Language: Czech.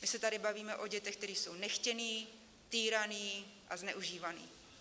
My se tady bavíme o dětech, které jsou nechtěné, týrané a zneužívané.